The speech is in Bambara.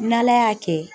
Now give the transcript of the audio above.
N'ala y'a kɛ